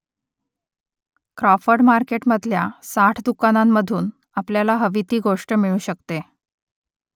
Crawford मार्केटमधल्या साठ दुकानांमधून आपल्याला हवी ती गोष्ट मिळू शकते